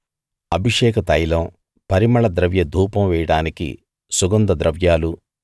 అభిషేక తైలం పరిమళ ద్రవ్య ధూపం వేయడానికి సుగంధ ద్రవ్యాలు